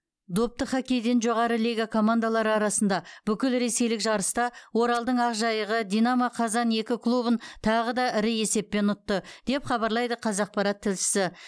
допты хоккейден жоғары лига командалары арасында бүкілресейлік жарыста оралдың ақжайығы динамо қазан екі клубын тағы да ірі есеппен ұтты деп хабарлайды қазақпарат тілшісі